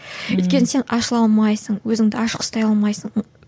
өйткені сен ашыла алмайсың өзіңді ашық ұстай алмайсың